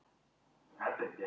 Þessi prestlingur, Karl-Artur